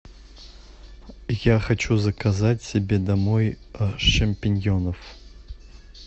я хочу заказать себе домой шампиньонов